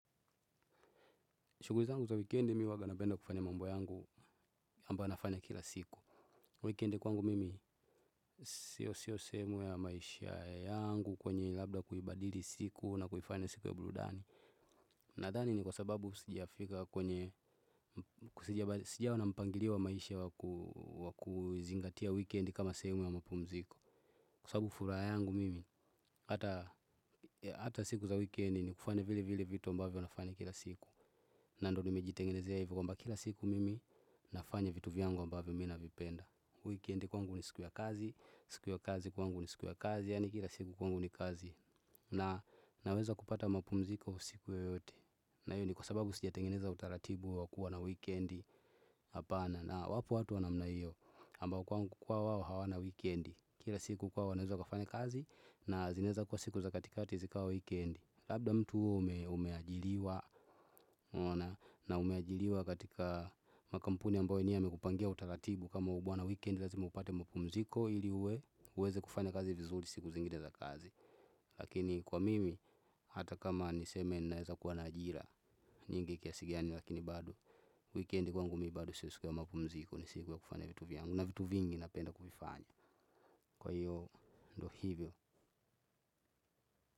Shuguri zangu za wikendi mi uwaga napenda kufanya mambo yangu amba nafanya kila siku. Wikendi kwangu mimi siyo siyo sehemu ya maisha yangu kwenye ilabda kuibadili siku na kuifanya siku ya buludani. Nadhani ni kwa sababu sijifika kwenye sijaona mpangiliwa maisha wa kuzingatia wikendi kama sehemu ya mapumziko. Kwa sababu furaha yangu mimi hata siku za wikendi ni kufanya vile vile vitu ambavyo nafanya kila siku. Na ndo nimejitengenezea hivo kwamba kila siku mimi nafanya vitu vyangu ambavyo mi navipenda. Wikendi kwangu ni siku ya kazi, siku ya kazi kwangu ni siku ya kazi yaani kila siku kwangu ni kazi. Na naweza kupata mapumziko usiku yoyote na iyo ni kwa sababu sijatengeneza utaratibu wakua na wikendi. Apana na wapo watu wa namna io ambao kwa wao hawana wikendi kira siku kwao wanaweza kufanya kazi na zinaeza kwa siku za katika zikawa wikendi labda mtu umeajiliwa na umeajiliwa katika makampuni ambayo wenyewe wamekupangia utaratibu kama ubuana wikendi razima upate mapumziko ili uwe uweze kufanya kazi vizuri siku zingine za kazi lakini kwa mimi hata kama niseme naeza kuwa na ajira nyingi kiasi gani lakini bado wikendi kwangu mi bado sio siku ya mapumziko ni siku ya kufanya vitu vyangu na vitu vingi napenda kuvifanya kwa iyo ndo hivyo.